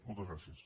moltes gràcies